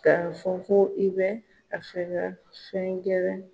K'a fɔ ko i bɛ a fɛ ga fɛn gɛlɛn